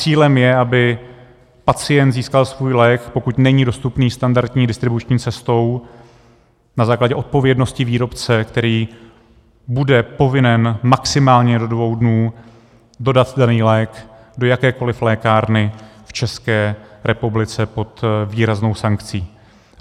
Cílem je, aby pacient získal svůj lék, pokud není dostupný standardní distribuční cestou, na základě odpovědnosti výrobce, který bude povinen maximálně do dvou dnů dodat daný lék do jakékoliv lékárny v České republice pod výraznou sankcí.